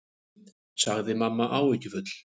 sagði mamma áhyggjufull.